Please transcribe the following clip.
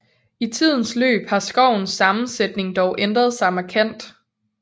I tidens løb har skovens sammensætning dog ændret sig markant